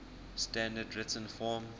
standard written form